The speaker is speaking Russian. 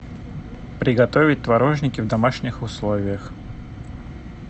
приготовить творожники в домашних условиях